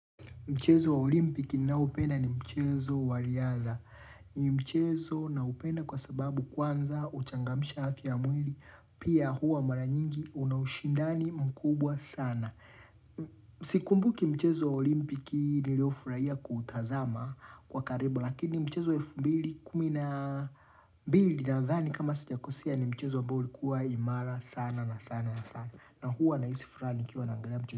Mchezo wa olimpiki nnaopenda ni mchezo waliadha. Ni mchezo na upenda kwa sababu kwanza uchangamsha haki ya mwili. Pia huwa mara nyingi unaushindani mkubwa sana. Sikumbuki mchezo olimpiki nilio furaia kuutazama kwa karibu. Lakini mchezo wa elfu mbili kumi na mbili na dhani kama sijakosea ni mchezo abao ulikuwa imara sana na sana na sana. Na huwa na isi furaa nikiwa naangalia mche.